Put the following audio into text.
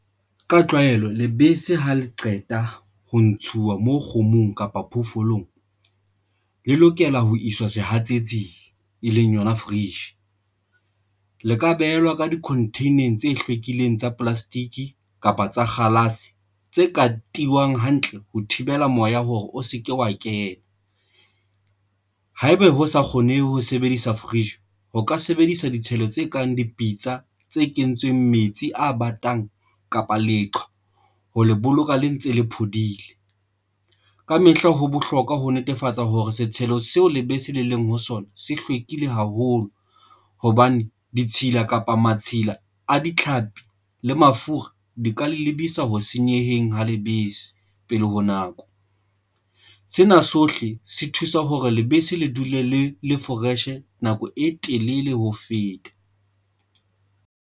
Ka tlwaelo, lebese ha le qeta ho ntshuwa moo kgomong kapa phoofolong, le lokela ho iswa sehatsetsing, e leng yona fridge le ka behelwa ka di-container-neng tse hlwekileng tsa di-plastic kapa tsa kgalase tse ka tiyang hantle ho thibela moya hore o se ke wa kena. Haeba ho sa kgone ho sebedisa fridge ho ka sebedisa ditshelo tse kang dipitsa tse kentsweng metsi a batang kapa leqhwa ho le boloka le ntse le phodile kamehla. Ho bohlokwa ho netefatsa hore setshelo seo lebese le leng ho sona se hlwekile haholo hobane ditshila kapa matshila a ditlhapi le mafura di ka lebese isa ho senyeheng ha lebese. Pele ho nako sena sohle se thusa hore lebese le dule le le fresh nako e telele ho feta.